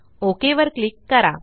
okay वर click करा